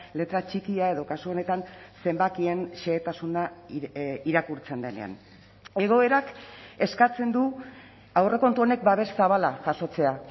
letra txikia edo kasu honetan zenbakien xehetasuna irakurtzen denean egoerak eskatzen du aurrekontu honek babes zabala jasotzea